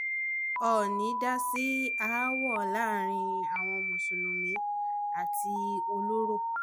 óónì dá sí aáwọ̀ láàrin àwọn mùsùlùmí àti ọlọ́rọ̀